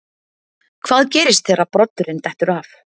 Hvað gerist þegar broddurinn dettur af?